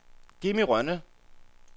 Jimmi Rønne